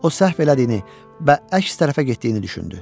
O səhv elədiyini və əks tərəfə getdiyini düşündü.